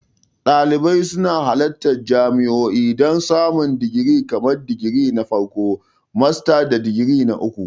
Dalibai suna halartar jami'o'i don samun digiri kamar digiri na farko, masters, da digiri na uku.